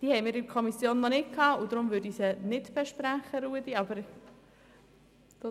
Die Anträge lagen der Kommission nicht vor, weshalb ich diese nicht besprechen werde.